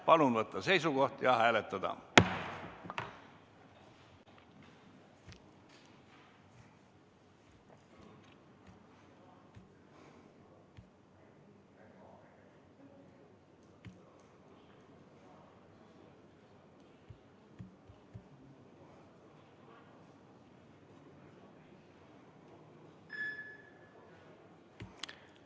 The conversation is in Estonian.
Palun võtta seisukoht ja hääletada!